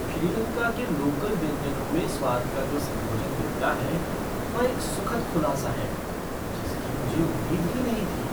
श्रीलंका के लोकल व्यंजनों में स्वाद का जो संयोजन मिलता है वह एक सुखद खुलासा है जिसकी मुझे उम्मीद ही नहीं थी।